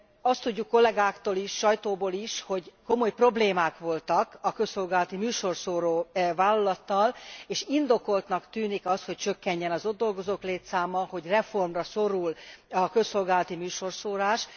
Azt tudjuk kollegáktól is, sajtóból is, hogy komoly problémák voltak a közszolgálati műsorszóró vállalattal, és indokoltnak tűnik az, hogy csökkenjen az ott dolgozók létszáma, hogy reformra szorul a közszolgálati műsorszórás.